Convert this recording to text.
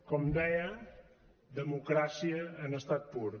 com deia democràcia en estat pur